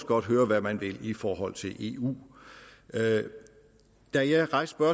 godt høre hvad man vil i forhold til eu da jeg rejste